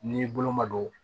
N'i bolo ma don